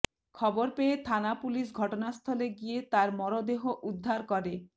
খবর পেয়ে থানা পুলিশ ঘটনাস্থলে গিয়ে তার মরদেহ উদ্ধার করে